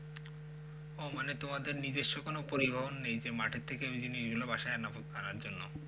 ও মানে তোমাদের মানে নিজস্ব কোনো পরিবহন নেই মাঠের থেকে ওই দিনই এলো বাসায় জন্য।